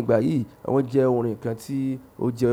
Ìgbà yìí, won je orin kan ti, o je-